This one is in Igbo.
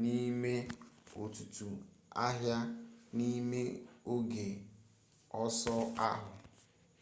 n'ime ọtụtụ agha n'ime oge ọsọ ahụ